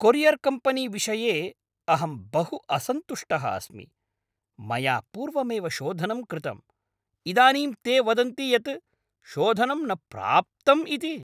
Courier company विषये अहं बहु असन्तुष्टः अस्मि, मया पूर्वमेव शोधनं कृतं, इदानीं ते वदन्ति यत् शोधनं न प्राप्तम् इति!